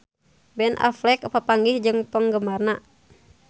Ben Affleck papanggih jeung penggemarna